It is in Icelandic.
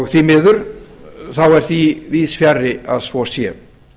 því miður er því víðs fjarri að svo sé